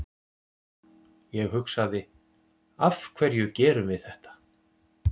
Ég hugsaði, af hverju gerum við þetta?